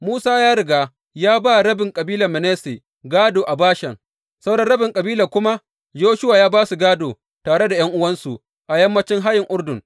Musa ya riga ya ba rabin kabilar Manasse gādo a Bashan; sauran rabin kabilar kuma Yoshuwa ya ba su gādo tare ’yan’uwansu a yammacin hayin Urdun.